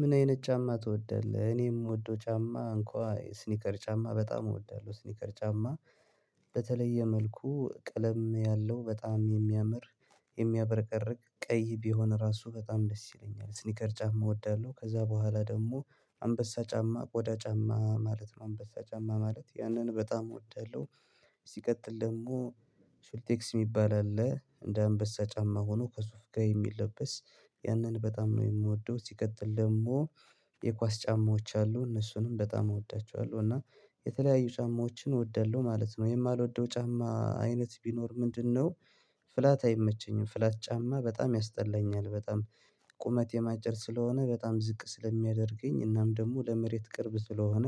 ምን አይነት ጫማ ትወዳለህ? እኔ ምወደው ጫማ እንኳ ስኒከር ጫማ በጣም እወዳለሁ ስኒከር ጫማ በተለየ መልኩ ቀለም ያለው በጣም የሚያምር የሚያበረቀርቅ ቀይ ቢሆን ራሱ በጣም ደስ ይለኛል ስኒከር ጫማ እወዳለሁ ከዛ በኋላ ደግሞ አንበሳ ጫማ ቆዳ ጫማ ማለት ነው አንበሳ ጫማ ማለት ያንን በጣም እወዳለሁ። ሲቀጥል ደግሞ ስልቴክስ የሚባል አለ እንደ አንበሳ ጫማ ሆኖ ከሱፍ ጋር የሚለበስ ያንን በጣም ነው የምወደው። ሲቀጥል ደግሞ የኳስ ጫማዎች አሉ እነሱንም በጣም እወዳቸዋለሁ። እና የተለያዩ ጫማዎችን እወዳለሁ ማለት ነው የማልወደው ጫማ አይነት ቢኖር ምንድነው? ፍላት አይመቸኝም ፍላት ጫማ በጣም ያስጠላኛል። በጣም ቁመቴም አጭር ስለሆነ በጣም ዝቅ ስለሚያደርገኝ እናም ደግሞ ለመሬት ቅርብ ስለሆነ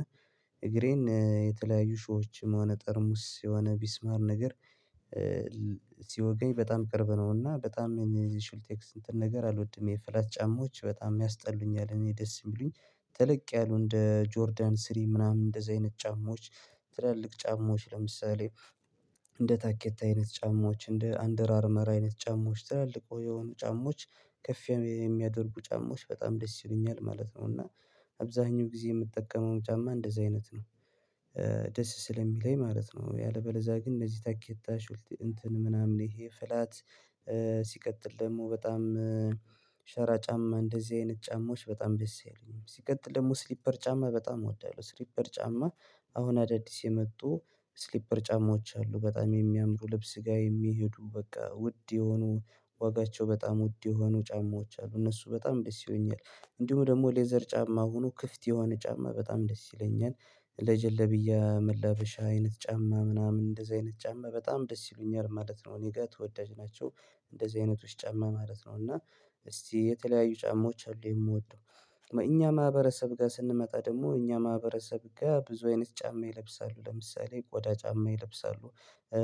እግሬን የተለያዩ እሾህሆችም ሆነ ጠርሙስ የሆነ ሚስማር ነገር በጣም ቅርብ ነውና በጣም የኔ ሹልቴክስ እንትን ነገር አልወድም የፍላት ጫማዎች በጣም ያስጠሉኛል። እኔ ደስ የሚሉኝ ተለቅ ያሉ እንደ ጆርዳን ስሪ ምናምን እንደዚህ አይነት ጫማዎች ትላልቅ ጫማዎች ለምሳሌ እንደ ታኬታ አይነት ጫማዎች እንደ አንደር አርመር አይነት ጫማዎች ትላልቅ የሆኑ ጫማዎች ከፍ የሚያደርጉ ጫማዎች በጣም ደስ ይሉኛል ማለት ነው። እና አብዛኛው ጊዜ የምጠቀመውም ጫማ እንደዚህ አይነት ነው ደስ ስለሚለኝ ማለት ነው። ያለበለዛ ግን እንደዚህ ታኬታ እንትን ምናምን ይሄ ፍላት ሲቀጥል ደግሞ በጣም ሸራ ጫማ እንደዚህ አይነት ጫማዎች በጣም ደስ አይሉኝም። ሲቀጥል ደግሞ ስሊፐር ጫማ በጣም እወዳለሁ። ስሊፐር ጫማ አሁን አዳዲስ የመጡ ስሊፐር ጫማዎች አሉ በጣም የሚያምሩ ልብስ ጋር የሚሄዱ በቃ ውድ የሆኑ ዋጋቸው በጣም ውድ የሆኑ ጫማዎች አሉ እነሱ በጣም ደስ ይሉኛል። እንዲሁም ደግሞ ሌዘር ጫማ ሆኖ ክፍት የሆነ ጫማ በጣም ደስ ይለኛል ለጀለብያ መላበሻ አይነት ጫማ ምናምን እንደዚህ አይነት ጫማ በጣም ደስ ይሉኛል ማለት ነው። እኔ ጋር ተወዳጅ ናቸው እንደዚህ አይነቶች ጫማ ማለት ነው። እና እስቲ የተለያዩ ጫማዎች አሉ የምወደው እኛ ማህበረሰብ ጋር ስንመጣ ደግሞ እኛ ማህበረሰብ ጋር ብዙ አይነት ጫማ ይለብሳሉ ለምሳሌ ቆዳ ጫማ ይለብሳሉ።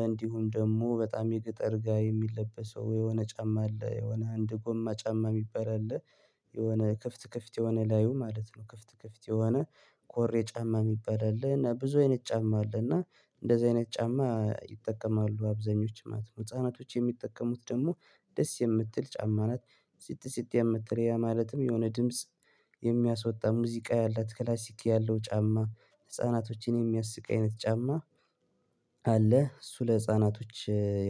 እንዲሁም ደግሞ በጣም የገጠር ጋር የሚለበሰው የሆነ ጫማ አለ የሆነ አንድ ጎማ ጫማ የሚባል አለ የሆነ ክፍት ክፍት የሆነ ላዩ ማለት ነው ክፍት ክፍት የሆነ ኮሬ ጫማ የሚባል አለና ብዙ አይነት ጫማ አለና እንደዚህ አይነት ጫማ ይጠቀማሉ አብዛኞቹ ማለት ነው ህፃናቶች የሚጠቀሙት ደግሞ ደስ የምትል ጫማ ናት። ሲጥ ሲጥ የምትል ያ ማለትም የሆነ ድምጽ የሚያስወጣ ሙዚቃ ያላት ክላሲክ ያለው ጫማ ህፃናቶችን የሚያስቅ አይነት ጫማ። አለ እሱ ለህፃናቶች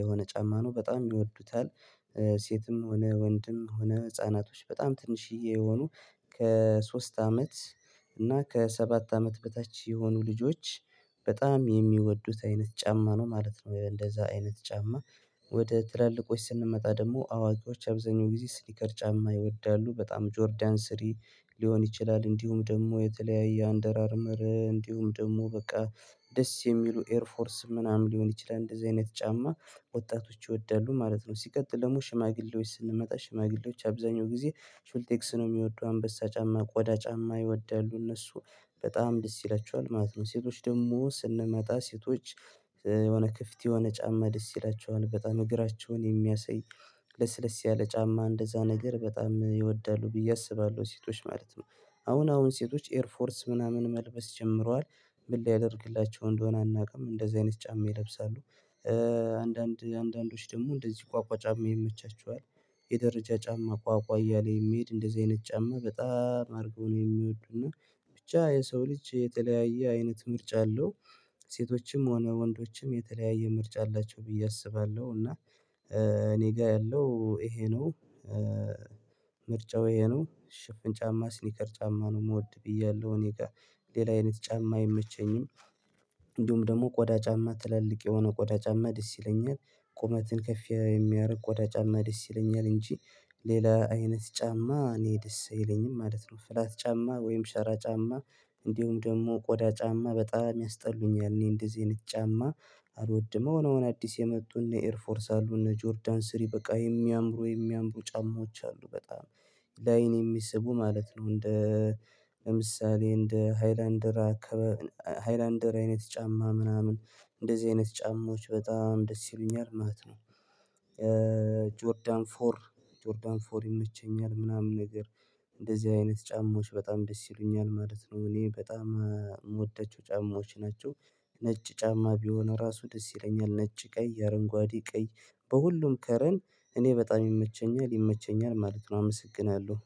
የሆነ ጫማ ነው በጣም ይወዱታል ሴትም ሆነ ወንድም ሆነ ህፃናቶች በጣም ትንሽዬ የሆኑ ከሶስት አመት እና ከሰባት አመት በታች የሆኑ ልጆች በጣም የሚወዱት አይነት ጫማ ነው ማለት ነው። እንደዛ አይነት ጫማ ወደ ትላልቆች ስንመጣ ደግሞ አዋቂዎች አብዛኛው ጊዜ ስኒከር ጫማ ይወዳሉ በጣም ጆርዳን ስሪ ሊሆን ይችላል እንዲሁም ደግሞ የተለያየ አንደር አርመር እንዲሁም ደግሞ በቃ ደስ የሚሉ ኤርፎርስ ምናምን ሊሆን ይችላል እንደዚህ አይነት ጫማ ወጣቶች ይወዳሉ ማለት ነው። ሲቀጥል ደግሞ ሽማግሌዎች ስንመጣ ሽማግሌዎች አብዛኛው ጊዜ ሹልቴክስ ነው የሚወዱ አንበሳ ጫማ ቆዳ ጫማ ይወዳሉ እነሱ በጣም ደስ ይላቸዋል ማለት ነው። ሴቶች ደግሞ ስንመጣ ሴቶች የሆነ ክፍት የሆነ ጫማ ደስ ይላቸዋል በጣም እግራቸውን የሚያሳይ ለስለስ ያለ ጫማ እንደዛ ነገር በጣም ይወዳሉ ብዬ አስባለሁ ሴቶች ማለት ነው። አሁን አሁን ሴቶች ኤር ፎርስ ምናምን መልበስ ጀምረዋል ምን ሊያደርግላቸው እንደሆነ አናውቅም እንደዚህ አይነት ጫማ ይለብሳሉ። አንዳንድ አንዳንዶች ደግሞ እንደዚህ ቋቋ ጫማ ይመቻቸዋል የደረጃ ጫማ ቋቋ እያለ የሚሄድ እንደዚህ አይነት ጫማ በጣም አድርገው ነው የሚወዱና። ብቻ የሰው ልጅ የተለያየ አይነት ምርጫ አለው። ሴቶችም ሆነ ወንዶችም የተለያየ ምርጫ አላቸው ብዬ አስባለሁ። እና እኔ ጋር ያለው ይሄ ነው። ምርጫው ይሄ ነው ሽፍን ጫማ ስኒከር ጫማ ነው የምወድ ብያለሁ እኔ ጋር ሌላ አይነት ጫማ አይመቸኝም። እንዲሁም ደግሞ ቆዳ ጫማ ትላልቅ የሆነ ቆዳ ጫማ ደስ ይለኛል ቁመትን ከፍ የሚያደርግ ቆዳ ጫማ ደስ ይለኛል እንጂ ሌላ አይነት ጫማ እኔ ደስ የለኝም ማለት ነው። ፍላት ጫማ ወይም ሸራ ጫማ እንዲሁም ደግሞ ቆዳ ጫማ በጣም ያስጠሉኛል እኔ እንደዚህ አይነት ጫማ አልወድም። አሁን አሁን አዲስ የመጡ እነ ኤርፎርስ አሉ እነ ጆርዳን ስሪ በቃ የሚያምሩ የሚያምሩ ጫማዎች አሉ በጣም ላይን የሚስቡ ማለት ነው። እንደ ለምሳሌ እንደ ሃይላንደራ አከባ ሃይላንደር አይነት ጫማ ምናምን እንደዚህ አይነት ጫማዎች በጣም ደስ ይሉኛል ማለት ነው። ጆርዳን ፎር ጆርዳን ፎር ይመቸኛል ምናምን ነገር እንደዚህ አይነት ጫማዎች በጣም ደስ ይሉኛል ማለት ነው። እኔ በጣም የምወደችው ጫማዎች ናቸው። ነጭ ጫማ ቢሆን ራሱ ደስ ይለኛል ነጭ ቀይ የአረንጓዴ ቀይ በሁሉም ከረን እኔ በጣም ይመቸኛል ይመቸኛል ማለት ነው። አመሰግናለሁ